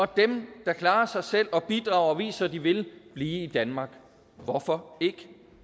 dem der klarer sig selv og bidrager og viser at de vil blive i danmark hvorfor ikke